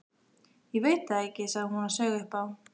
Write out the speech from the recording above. Ég veit það ekki, sagði hún og saup á.